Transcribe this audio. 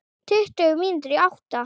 Tuttugu mínútur í átta.